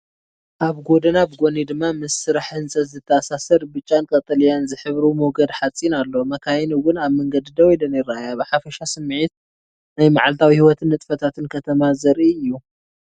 ኣብ ጎደና ብጎኒ ድማ ምስ ስራሕ ህንጸት ዝተኣሳሰር ብጫን ቀጠልያን ዝሕብሩ ሞገድ ሓጺን ኣሎ። መካይን እውን ኣብ መንገዲ ደው ኢለን ይረኣያ። ብሓፈሻ ስሚዒት ናይ መዓልታዊ ህይወትን ንጥፈታትን ከተማ ዘርኢ እዩ።